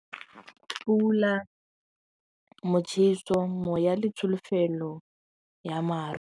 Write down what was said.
Pula, motšheso, moya le tsholofelo ya maru.